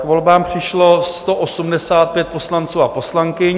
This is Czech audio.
K volbám přišlo 185 poslanců a poslankyň.